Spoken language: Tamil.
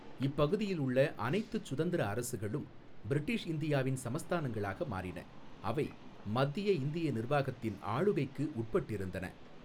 இப்பகுதியில் உள்ள அனைத்துச் சுதந்திர அரசுகளும் பிரிட்டிஷ் இந்தியாவின் சமஸ்தானங்களாக மாறின, அவை மத்திய இந்திய நிர்வாகத்தின் ஆளுகைக்கு உட்பட்டிருந்தன.